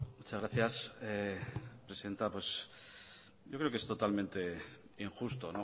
muchas gracias presidenta pues yo creo que es totalmente injusto